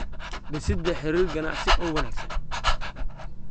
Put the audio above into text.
Dhisidda Xiriir Ganacsi oo Wanaagsan.